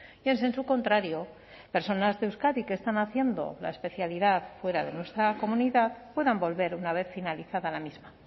y en sensu contrario personas de euskadi que están haciendo la especialidad fuera de nuestra comunidad puedan volver una vez finalizada la misma